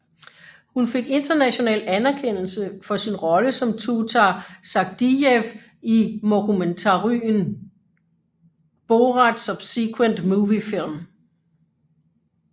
Hun fik international anerkendelse for sin rolle som Tutar Sagdiyev i mockumentaryen Borat Subsequent Moviefilm